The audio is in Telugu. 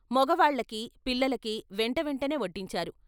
మొగవాళ్ళకి, పిల్లలకి వెంట వెంటనే వడ్డించారు.